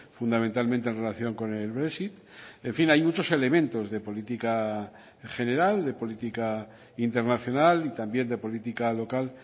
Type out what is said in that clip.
fundamentalmente en relación con el brexit en fin hay muchos elementos de política general de política internacional y también de política local